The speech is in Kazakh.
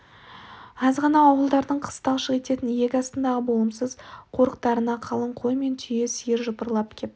аз ғана ауылдардың қыс талшық ететін иек астындағы болымсыз қорықтарына қалың қой мен түйе сиыр жапырлап кеп